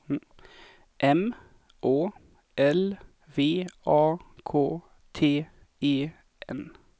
M Å L V A K T E N